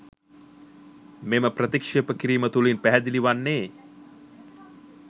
මෙම ප්‍රතික්‍ෂේප කිරීම තුළින් පැහැදිලි වන්නේ